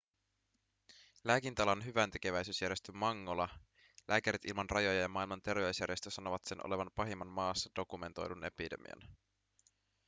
lääkintäalan hyväntekeväisyysjärjestö mangola lääkärit ilman rajoja ja maailman terveysjärjestö sanovat sen olevan pahimman maassa dokumentoidun epidemian